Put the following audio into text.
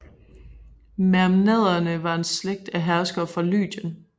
Mermnaderne var en slægt af herskere af Lydien